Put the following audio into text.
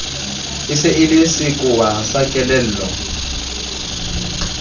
e le sekowa sa kelello